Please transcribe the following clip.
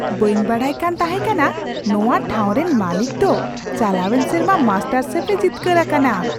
ᱵᱟᱹᱧ ᱵᱟᱰᱟᱭᱠᱟᱱ ᱛᱟᱦᱮᱸᱠᱟᱱᱟ ᱱᱚᱣᱟ ᱴᱷᱟᱣ ᱨᱮᱱ ᱢᱟᱹᱞᱤᱠ ᱫᱚ ᱪᱟᱞᱟᱣᱮᱱ ᱥᱮᱨᱢᱟ ᱢᱟᱥᱴᱟᱨᱥᱮᱯᱷᱼᱮ ᱡᱤᱛᱠᱟᱹᱨ ᱟᱠᱟᱱᱟ ᱾